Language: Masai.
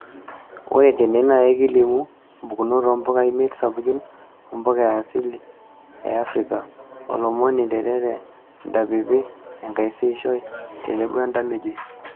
Ore tene naa ekilimu mpukunot oo mpuka imiet sapukin oo mpuka asili e Afrika:olmomoi, nterere, entapipi, enkaisiishoi tenebo entamejoi.